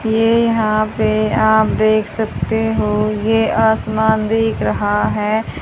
ये यहां पे आप देख सकते हो ये आसमान दिख रहा है।